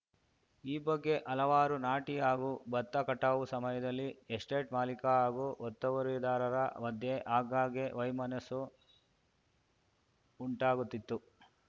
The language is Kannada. ಈ ಬಗ್ಗೆ ಹಲವಾರು ನಾಟಿ ಹಾಗೂ ಭತ್ತ ಕಟಾವು ಸಮಯದಲ್ಲಿ ಎಸ್ಟೇಟ್‌ ಮಾಲೀಕ ಹಾಗೂ ಒತ್ತುವರಿದಾರರ ಮಧ್ಯೆ ಆಗಾಗ್ಗೆ ವೈಮಸ್ಸು ಉಂಟಾಗುತ್ತಿತ್ತು